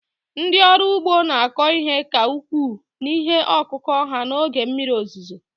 ndị ọrụ ugbo na-akọ ihe ka ukwuu n'ihe ọkụkụ ha n'oge mmiri ozuzo